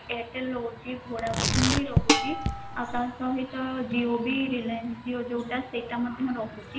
airtel ରହୁଛି vodafone ବି ରହୁଛି ଆଉ ତାସହିତ reliance Jio ଯୋଉଟା ସେଟା ମଧ୍ୟ ରହୁଛି ଆପଣଙ୍କର ତ ରହୁଛି ବହୁତସାରା ବ୍ୟବହାରକାରି ବି ରହୁଛନ୍ତି ଆଉ